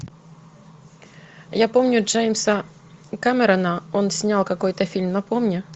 я помню джеймса кэмерона он снял какой то фильм напомни